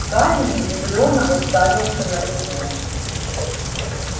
гарри изумлённо уставился на него